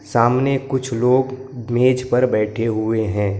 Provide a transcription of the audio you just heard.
सामने कुछ लोग मेज पर बैठे हुए हैं।